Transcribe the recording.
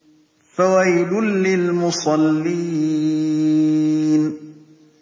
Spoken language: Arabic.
فَوَيْلٌ لِّلْمُصَلِّينَ